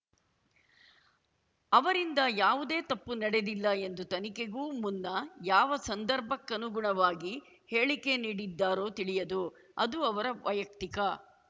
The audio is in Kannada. ಅವರಿಂದ ಯಾವುದೇ ತಪ್ಪು ನಡೆದಿಲ್ಲ ಎಂದು ತನಿಖೆಗೂ ಮುನ್ನ ಯಾವ ಸಂದರ್ಭಕ್ಕುನುಗುಣವಾಗಿ ಹೇಳಿಕೆ ನೀಡಿದ್ದಾರೋ ತಿಳಿಯದು ಅದು ಅವರ ವೈಯಕ್ತಿಕ